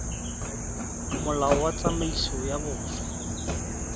molao wa tsamaiso ya boswa